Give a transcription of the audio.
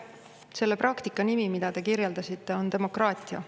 Selle praktika nimi, mida te kirjeldasite, on demokraatia.